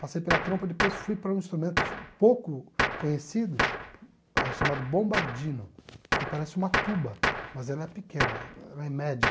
Passei pela trompa, depois fui para um instrumento pouco conhecido eh, chamado bombardino, que parece uma tuba, mas ela é pequena, ela é média.